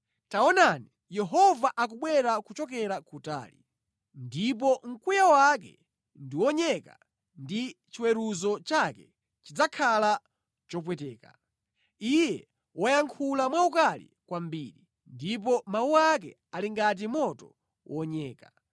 Taonani, Yehova akubwera kuchokera kutali, ndipo mkwiyo wake ndiwonyeka ndi chiweruzo chake chidzakhala chopweteka. Iye wayankhula mwaukali kwambiri, ndipo mawu ake ali ngati moto wonyeka.